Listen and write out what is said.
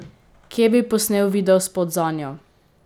Kje bi posnel videospot zanjo?